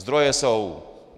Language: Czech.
Zdroje jsou.